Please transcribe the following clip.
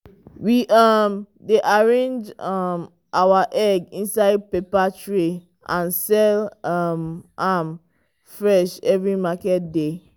we um dey arrange um our egg inside paper tray and sell um am fresh every market day.